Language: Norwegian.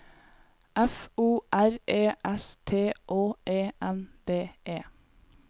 F O R E S T Å E N D E